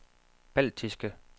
baltiske